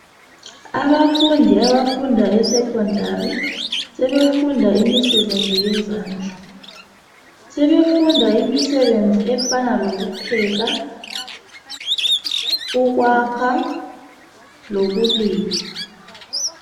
Abafundi abafunda eskhondari sebefunda imisebenzi yezandla sebefunda imisebenzi efana lokupheka ukwakha, lokulima.